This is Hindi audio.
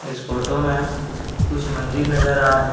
इस फोटो में कुछ मंदिर नजर आ रहे--